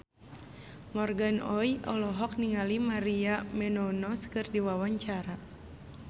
Morgan Oey olohok ningali Maria Menounos keur diwawancara